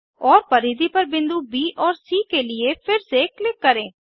और परिधि पर बिंदु ब और सी के लिए फिर से क्लिक करें